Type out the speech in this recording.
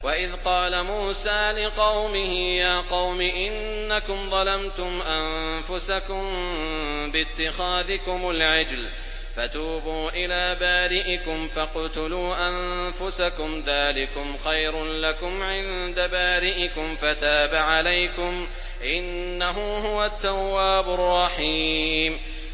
وَإِذْ قَالَ مُوسَىٰ لِقَوْمِهِ يَا قَوْمِ إِنَّكُمْ ظَلَمْتُمْ أَنفُسَكُم بِاتِّخَاذِكُمُ الْعِجْلَ فَتُوبُوا إِلَىٰ بَارِئِكُمْ فَاقْتُلُوا أَنفُسَكُمْ ذَٰلِكُمْ خَيْرٌ لَّكُمْ عِندَ بَارِئِكُمْ فَتَابَ عَلَيْكُمْ ۚ إِنَّهُ هُوَ التَّوَّابُ الرَّحِيمُ